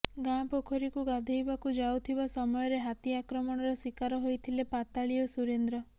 ଗାଁ ପୋଖରୀକୁ ଗାଧୋଇବାକୁ ଯାଉଥିବା ସମୟରେ ହାତୀ ଆକ୍ରମଣର ଶିକାର ହୋଇଥିଲେ ପାତାଳି ଓ ସୁରେନ୍ଦ୍ର